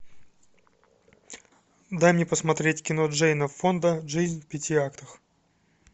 дай мне посмотреть кино джейна фонда жизнь в пяти актах